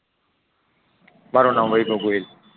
મારૂ નામ વૈભવ ગોહિલ